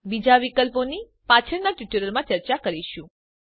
બીજા વિકલ્પોની પાછળના ટ્યુટોરીયલોમાં ચર્ચા કરીશું